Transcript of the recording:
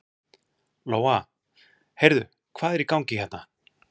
Lóa: Heyrðu, hvað er í gangi hérna?